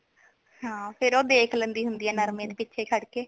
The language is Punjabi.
ਹਾਂ ਫੇਰ ਓ ਦੇਖ ਲੈਂਦੀ ਹੁੰਦੀ ਹੈ ਨਰਮੇ ਦੇ ਪਿੱਛੇ ਖੜ ਕੇ